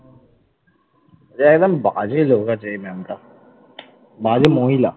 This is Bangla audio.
পুরো একদম বাজে লোক আছে এই ম্যামটা, বাজে মহিলা ।